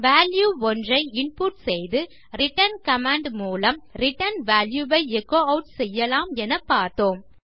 value ஒன்றை input செய்து return command மூலம் ரிட்டர்ன் வால்யூ வை எச்சோ ஆட் செய்யலாம் என பார்த்தோம்